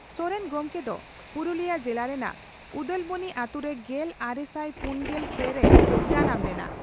ᱥᱚᱨᱮᱱ ᱜᱚᱢᱠᱮ ᱫᱚ ᱯᱩᱨᱩᱞᱤᱭᱟᱹ ᱡᱮᱞᱟ ᱨᱮᱱᱟᱜ ᱩᱫᱟᱞᱵᱚᱱᱤ ᱟᱹᱛᱩᱨᱮ ᱜᱮᱞᱟᱨᱮᱥᱟᱭ ᱯᱩᱱᱜᱮᱞ ᱯᱮ ᱨᱮᱭ ᱡᱟᱱᱟᱢ ᱞᱮᱱᱟ ᱾